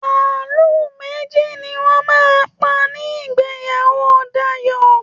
Màálù méjì ni wọ́n máa pa ni ìgbéyàwó Dayọ̀